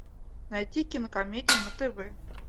найти кинокомедию на тв